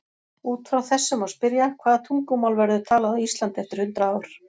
Út frá þessu má spyrja: Hvaða tungumál verður talað á Íslandi eftir hundrað ár?